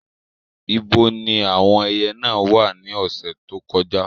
Ibo ni àwọn ẹyẹ náà wà ní ọ̀sẹ̀ tó kọjá?